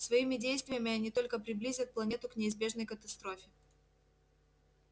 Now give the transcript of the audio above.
своими действиями они только приблизят планету к неизбежной катастрофе